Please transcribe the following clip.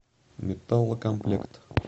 металлкомплект